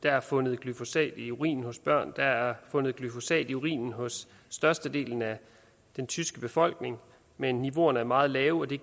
er fundet glyfosat i urinen hos børn og der er fundet glyfosat i urinen hos størstedelen af den tyske befolkning men niveauerne er meget lave og det